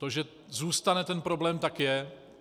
To, že zůstane ten problém, tak je.